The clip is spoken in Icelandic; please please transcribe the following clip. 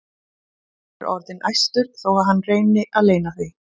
Hann er orðinn æstur þó að hann reyni að leyna því.